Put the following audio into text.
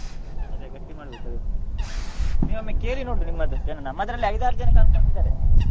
ಅದೇ ಗಟ್ಟಿ ಮಾಡ್ಬೇಕು ಅದೇ ನೀವೊಮ್ಮೆ ಕೇಳಿ ನೋಡಿ ನಿಮ್ಮದು ಏನು ನಮ್ಮದ್ರಲ್ಲಿ ಐದಾರು ಜನ confirm ಇದ್ದಾರೆ.